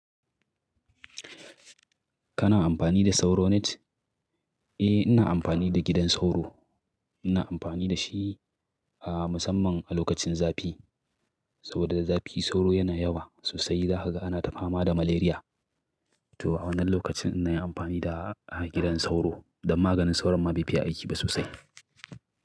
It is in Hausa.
Kana amfani da sauro net? Eh ina amfani da gidan sauro. Ina amfani da shi ah musamman a lokacin zafi. Saboda da zafi sauro yana yawa sosai. Za kaga ana ta fama da malaria. To a wannan lokacin ina yin amfani da gidan sauro don maganin sauro ma bai fiye aiki ba sosai.